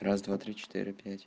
раз-два-три-четыре пять